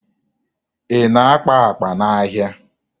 Ị na-akpa akpa n'ahịa?